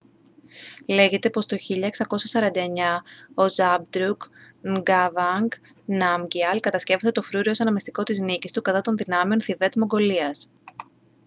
λέγεται πως το 1649 ο zhabdrung ngawang namgyal κατασκεύασε το φρούριο ως αναμνηστικό της νίκης του κατά των δυνάμεων θιβέτ-μογγολίας